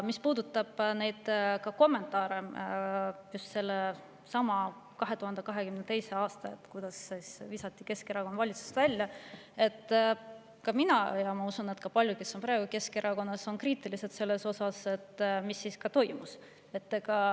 Mis puudutab kommentaare just sellesama 2022. aasta kohta, kui visati Keskerakond valitsusest välja, siis mina olen ja ma usun, et ka paljud, kes on praegu Keskerakonnas, on kriitilised selle suhtes, mis siis toimus.